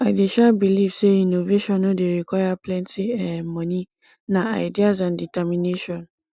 i dey um believe say innovation no dey require plenty um monie na ideas and determination